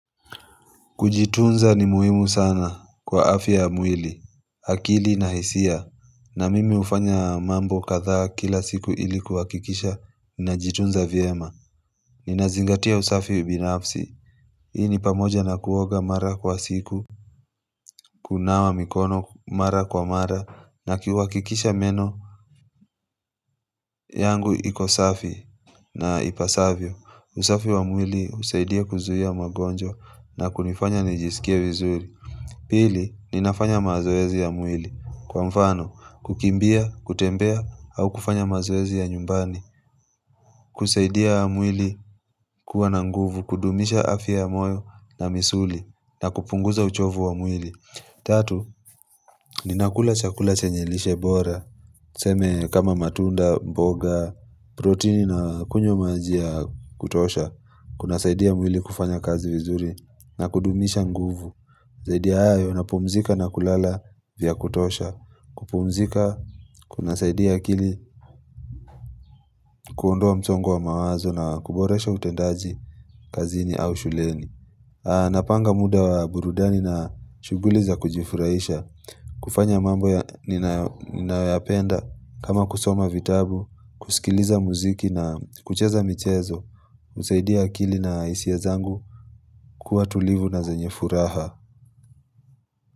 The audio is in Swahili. Kujitunza ni muhimu sana kwa afya ya mwili, akili na hisia, na mimi hufanya mambo kadha kila siku ili kuhakikisha na najitunza vyema. Ninazingatia usafi ubinafsi, hii ni pamoja na kuoga mara kwa siku, kunawa mikono mara kwa mara, na kuhakikisha meno yangu ikosafi na ipasavyo. Usafi wa mwili husaidia kuzuia magonjwa na kunifanya nijisikia vizuri. Pili, ninafanya mazoezi ya mwili. Kwa mfano, kukimbia, kutembea au kufanya mazoezi ya nyumbani. Kusaidia mwili kuwa na nguvu, kudumisha afya moyo na misuli na kupunguza uchovu wa mwili. Tatu, ninakula chakula chenyelishe bora, tuseme kama matunda, mboga, protini na kunywa majia kutosha, kuna saidia mwili kufanya kazi vizuri na kudumisha nguvu, saidia hayo na pumzika na kulala vya kutosha, kupumzika, kuna saidia akili, kuondoa msongo wa mawazo na kuboresha utendaji kazini au shuleni. Napanga muda wa burudani na shuguliza kujifurahisha kufanya mambo ya ninayoyapenda kama kusoma vitabu kusikiliza muziki na kucheza michezo husaidia akili na hisia zangu kuwa tulivu na zanyefuraha.